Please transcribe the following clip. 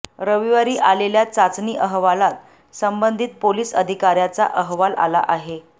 रविवारी आलेल्या चाचणी अहवालात संबंधित पोलीस अधिकाऱ्याचा अहवाल आला आहे